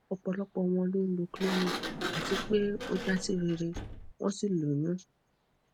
ọpọlọpọ wọn ló ń lo clomid àti pé o ja si rere won sí lóyún